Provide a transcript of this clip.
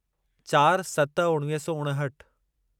चार सत उणिवीह सौ उणहठि